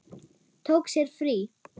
Tók sér frí.